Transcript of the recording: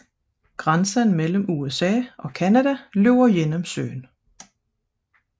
Grænsen mellem USA og Canada løber gennem søen